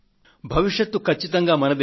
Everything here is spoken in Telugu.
భవిష్యత్ కచ్చితంగా మనది